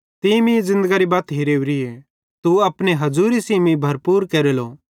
तीं मीं ज़िन्दगरी बत्त हेरेवरिए तू अपने हज़ूरी सेइं मीं भरपूर केरेलो